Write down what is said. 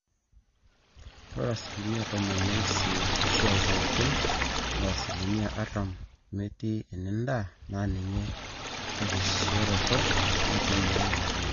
ore asilimia tomon esiai pooki o asilimia artam metii enendaa na ninye erisioroto naitumiai naleng